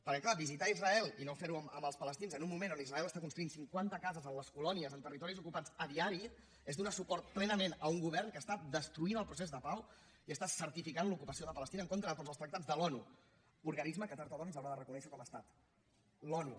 perquè clar visitar israel i no fer ho amb els palestins en un moment on israel està construint cinquanta cases a les colònies en territoris ocupats a diari és donar suport plenament a un govern que està destruint el procés de pau i està certificant l’ocupació de palestina en contra de tots els tractats de l’onu organisme que tard o d’hora ens haurà de reconèixer com a estat l’onu